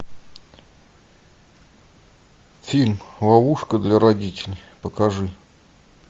фильм ловушка для родителей покажи